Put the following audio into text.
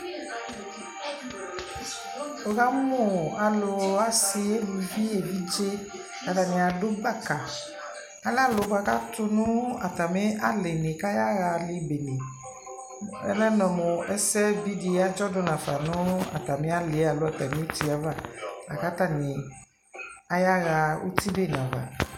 Wukamʋ alʋ asi elʋvi evidze Atani adʋ baka Alɛ alʋ bua kʋ atu atami alι nι kʋ ayaɣaali bene Ɔlɛ mʋ ɛsɛ di adzɔ dʋ nafa nʋ atami ali yɛ alo atami uti yɛ ava la kʋ atani ayaɣa uti bene ava